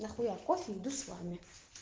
нахуя кофе иду с вами